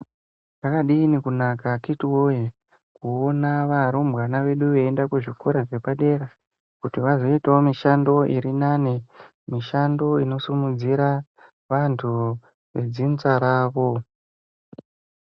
Zvakadini kunaka akhiti woye kuona varumbwana vedu veienda kuzvikora zvepadera kuti vazoitawo mishando iri nane, mishando inosimudzire vantu vedzinza ravo.